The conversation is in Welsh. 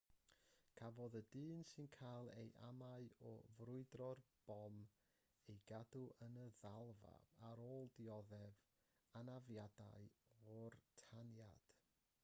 cafodd y dyn sy'n cael ei amau o ffrwydro'r bom ei gadw yn y ddalfa ar ôl dioddef anafiadau o'r taniad